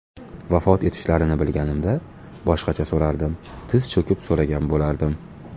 Vafot etishlarini bilganimda boshqacha so‘rardim tiz cho‘kib so‘ragan bo‘lardim.